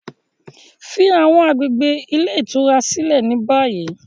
Fi awọn agbegbe ile itura silẹ ni bayi!